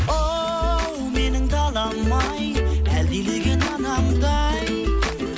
оу менің далам ай әлдилеген анамдай